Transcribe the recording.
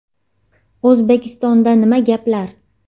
O‘zbekistonda nima gaplar?